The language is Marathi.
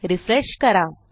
रिफ्रेश करा